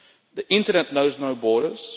The internet knows no borders.